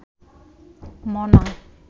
মনা